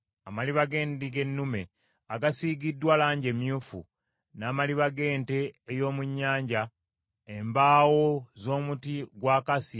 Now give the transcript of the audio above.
n’amaliba g’endiga ennume amakunye amannyike mu langi emyufu, n’ekika ky’eddiba ekirala ekiwangaazi; n’embaawo z’omuti gwa akasiya;